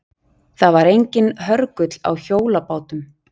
Það var enginn hörgull á hjólabátum.